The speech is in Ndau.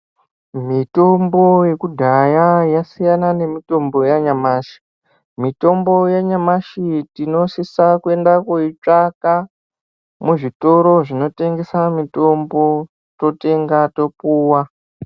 Mitombo yekudhaya yasiyana nemitombo yanyamashi. Mitombo yanyamashi tinosisa kuenda koitsvaka muzvitoro zvinotengese mitombo totenga topuwa.